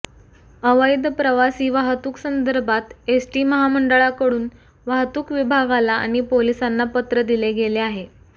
अवैध प्रवासी वाहतूकसंदर्भात एसटी महामंडळाकडून वाहतूक विभागाला आणि पोलिसांना पत्र दिले गेले आहे